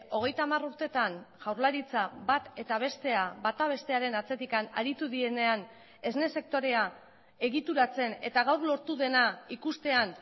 hogeita hamar urtetan jaurlaritza bat eta bestea bata bestearen atzetik aritu direnean esne sektorea egituratzen eta gaur lortu dena ikustean